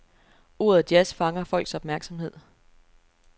Ordet jazz fanger folks opmærksomhed.